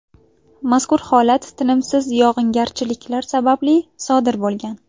Mazkur holat tinimsiz yog‘ingarchiliklar sababli sodir bo‘lgan.